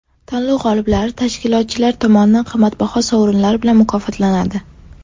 Tanlov g‘oliblari tashkilotchilar tomonidan qimmatbaho sovrinlar bilan mukofotlanadi.